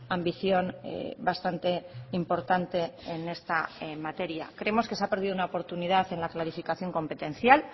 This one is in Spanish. ambición bastante importante en esta materia creemos que se ha perdido una oportunidad en la clarificación competencial